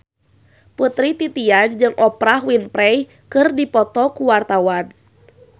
Putri Titian jeung Oprah Winfrey keur dipoto ku wartawan